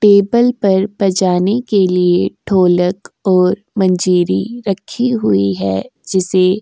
table पर बजाने के लिए ढोलक और मंजिरी रक्खी हुई है जिसे --